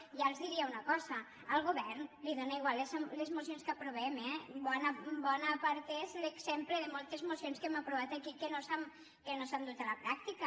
i ja els diria una cosa al govern li donen igual les mocions que aprovem eh en bona part és l’exemple de moltes mocions que hem aprovat aquí i que no s’han dut a la pràctica